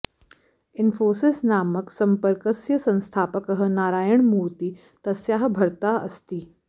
इन्फोसिस नामक सम्पर्कस्य संस्थापकः नारायण मूर्ति तस्याः भर्ता अस्ति